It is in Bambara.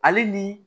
Ale ni